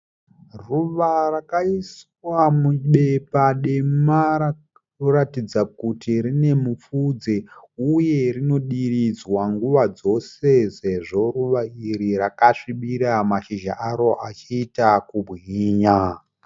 Ruva rakaiswa mubepa dema rinotaridza kuti rine mupfudze uye rinodiridzwa nguva dzose sezvo mashinha aro achiita kubwinya.